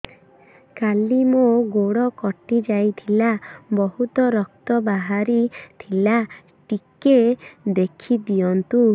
କାଲି ମୋ ଗୋଡ଼ କଟି ଯାଇଥିଲା ବହୁତ ରକ୍ତ ବାହାରି ଥିଲା ଟିକେ ଦେଖି ଦିଅନ୍ତୁ